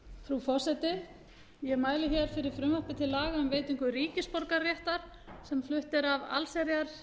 frú forseti ég mæli fyrir frumvarpi til laga um veitingu ríkisborgararéttar sem flutt er af allsherjarnefnd